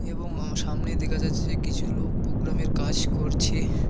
এবং আঃ সামনে দেখা যাচ্ছে যে কিছু লোক প্রোগ্রামের কাজ করছে।